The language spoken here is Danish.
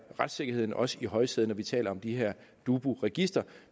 retssikkerheden også i højsædet når vi taler om det her dubu register